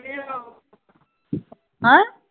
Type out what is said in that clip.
ਹਾਂ